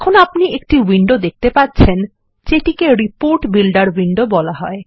এখন আপনিএকটিউইন্ডো দেখতে পাচ্ছেন যেটিকে রিপোর্ট বিল্ডের উইন্ডো বলা হয়